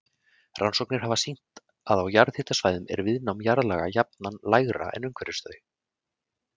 Rannsóknir hafa sýnt að á jarðhitasvæðum er viðnám jarðlaga jafnan lægra en umhverfis þau.